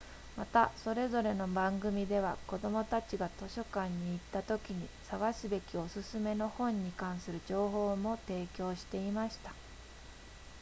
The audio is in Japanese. またそれぞれの番組では子どもたちが図書館に行ったときに探すべきお勧めの本に関する情報も提供していました